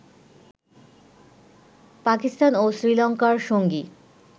পাকিস্তান ও শ্রীলঙ্কার সঙ্গী